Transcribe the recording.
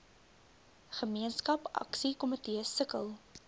gemeenskap aksiekomitees sukkel